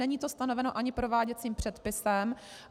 Není to stanoveno ani prováděcím předpisem.